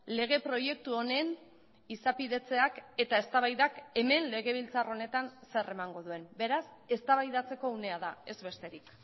lege proiektu honen izapidetzeak eta eztabaidak hemen legebiltzar honetan zer emango duen beraz eztabaidatzeko unea da ez besterik